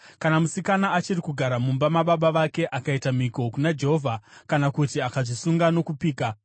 “Kana musikana achiri kugara mumba mababa vake akaita mhiko kuna Jehovha kana kuti akazvisunga nokupika,